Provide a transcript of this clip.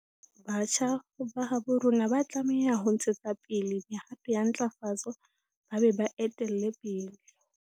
Batjha ba habo rona ba tlameha ho ntshetsa pele mehato ya ntlafatso ba be ba e etelle pele.